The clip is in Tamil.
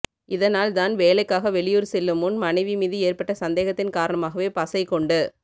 இதனால் தான் வேலைக்காக வெளியூர் செல்லும் முன் மனைவி மீது ஏற்பட்ட சந்தேகத்தின் காரணமாகவே பசை கொண்டு